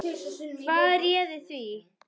Hvað réði því?